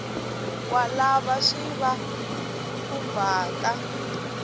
wa lava swi va khumbhaka